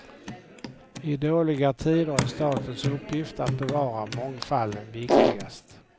I dåliga tider är statens uppgift att bevara mångfalden viktigast.